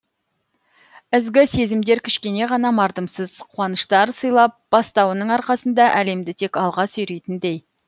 ізгі сезімдер кішкене ғана мардымсыз қуаныштар сыйлап бастауының арқасында әлемді тек алға сүйрейтіндей